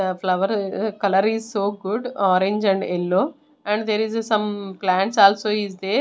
ah flower ah ah colour is so good orange and yellow and there is a some plants also is there.